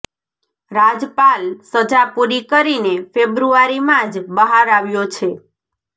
રાજપાલ સજા પૂરી કરીને ફેબ્રુઆરીમાં જ બહાર આવ્યો છે